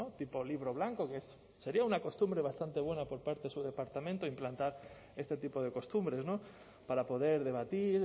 tipo libro blanco que sería una costumbre bastante buena por parte de su departamento implantar este tipo de costumbres para poder debatir